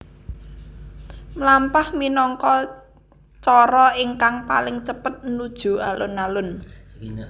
Mlampah minangka cara ingkang paling cepet nuju alun alun